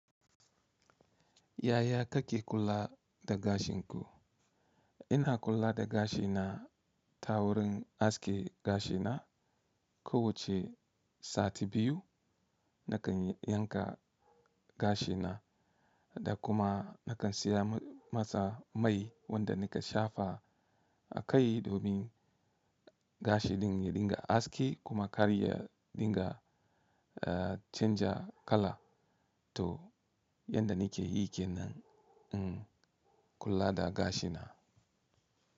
Yaya kake kula da gashin ku? Ina kula da gashina ta wurin aske gashina. Ko wace sati biyu nakan yanka gashina da kuma nakan siya masa mai wanda nika shafa a kai domin gashi din ya dinga aski kuma karya dinga canza kala. To yanda nike yi kenan in kula da gashina.